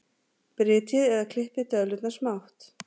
Brytjið eða klippið döðlurnar smátt.